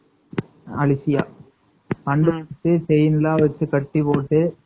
அலூசியா அப்பறம் செயின்லாம் வச்சு கட்டிப்போட்டு